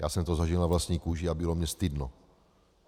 Já jsem to zažil na vlastní kůži a bylo mně stydno.